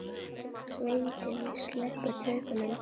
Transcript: Sveitin sleppti tökum.